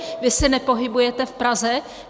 Vy se nepohybujete v Praze?